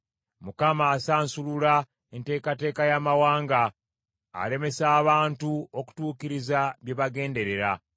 Mukama asansulula enteekateeka y’amawanga; alemesa abantu okutuukiriza bye bagenderera.